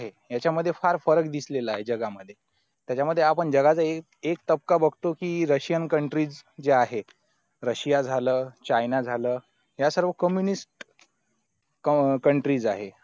त्याचा मध्ये आपन जगाचा एक टपका बगतो कि russian countries जी आहेत russia झाला china झाला या सर्वे communist country आहे